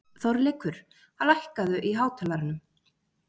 Þorleikur, lækkaðu í hátalaranum.